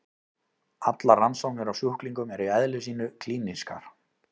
Allar rannsóknir á sjúklingum eru í eðli sínu klínískar.